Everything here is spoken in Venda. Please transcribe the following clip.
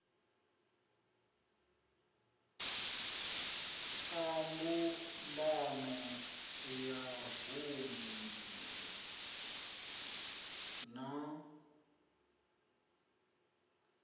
a mbumbano ya vunu na